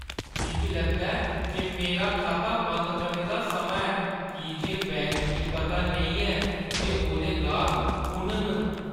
मिगी लगदा ऐ जे मेरा खाता बंद करने दा समां ऐ की जे बैंक गी पता नेईं ऐ जे ओह्दे गाह्क कु'न न।